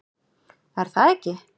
Er það ekki?